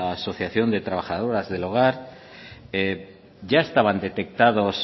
asociación de trabajadoras del hogar ya estaban detectados